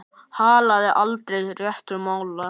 Hallaði aldrei réttu máli.